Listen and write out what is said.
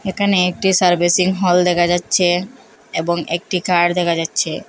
একানে একটি servicing hall দেখা যাচ্ছে এবং একটি কার দেখা যাচ্ছে।